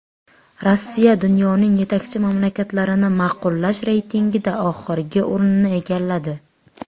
Rossiya dunyoning yetakchi mamlakatlarini ma’qullash reytingida oxirgi o‘rinni egalladi.